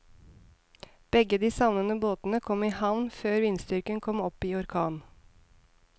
Begge de savnede båtene kom i havn før vindstyrken kom opp i orkan.